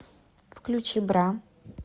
включи бра